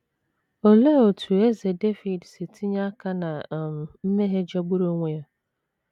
Olee otú Eze Devid si tinye aka ná um mmehie jọgburu onwe ya?